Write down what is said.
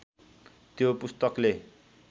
त्यो पुस्तकले